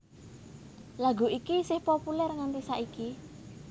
Lagu iki isih populèr nganti saiki